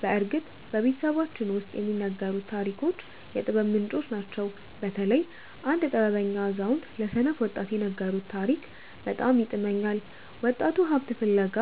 በእርግጥ በቤተሰባችን ውስጥ የሚነገሩት ታሪኮች የጥበብ ምንጮች ናቸው። በተለይ አንድ ጥበበኛ አዛውንት ለሰነፍ ወጣት የነገሩት ታሪክ በጣም ይጥመኛል። ወጣቱ ሀብት ፍለጋ